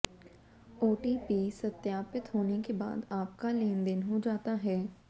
OTP सत्यापित होने के बाद आपका लेनदेन हो जाता है